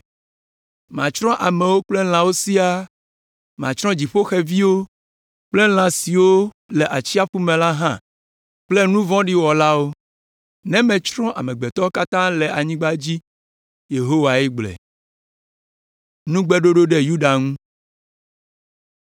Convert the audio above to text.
“Matsrɔ̃ amewo kple lãwo siaa; Matsrɔ̃ dziƒoxeviwo kple lã siwo le atsiaƒu me la hã kple nu vɔ̃ɖi wɔlawo.” “Ne metsrɔ̃ amegbetɔwo katã le anyigba dzi,” Yehowae gblɔe.